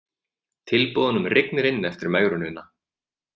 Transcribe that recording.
Tilboðunum rignir inn eftir megrunina